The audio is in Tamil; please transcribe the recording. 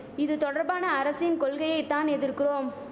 இது தொடர்பான அரசின் கொள்கையை தான் எதிர்குறோம்